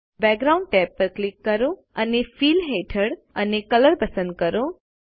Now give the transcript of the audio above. background tab પર click કરો અને ફિલ હેઠળ અને કલર પસંદ કરો